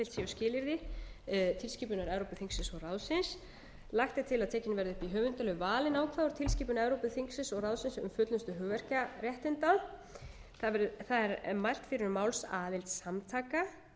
skilyrði tilskipunar evrópuþingsins og ráðsins lagt er til að tekin verði upp í höfundalög valin ákvæði úr tilskipun evrópuþingsins og ráðsins um fullnustu hugverkaréttinda það er mælt fyrir um málsaðild samtaka